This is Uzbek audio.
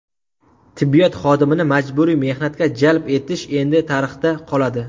Tibbiyot xodimini majburiy mehnatga jalb etish endi tarixda qoladi.